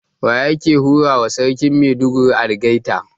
Waye yake hurawa Sarkin Maiduguri algaita?